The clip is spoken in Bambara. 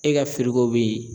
E ka bɛ yen